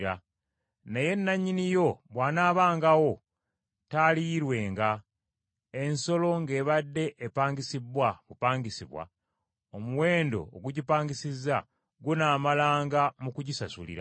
Naye nannyini yo bw’anaabangawo, taaliyirwenga. Ensolo ng’ebadde epangisibbwa bupangisibwa, omuwendo ogugipangisizza gunaamalanga mu kugisasulira.